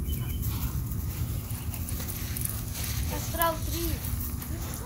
астрал три